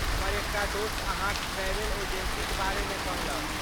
हमर एकटा दोस्त अहाँक ट्रैवेल एजेंसीक बारेमे कहलक।